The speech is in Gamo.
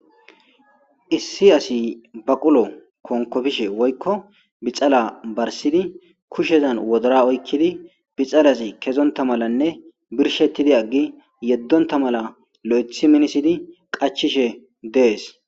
Issi asi baqulo konkopishe woykko bixala barsidi kushezan wodora oykidi bixalazi kezonta malanne birshetidi aggi yedonta mala lo'eththi minisidi qachchishe dees.